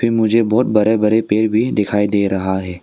मुझे बहुत बड़े बड़े पेड़ भी दिखाई दे रहा है।